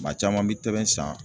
Maa caman bi tɛbɛn san